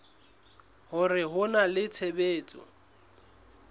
hore ho na le tshebetso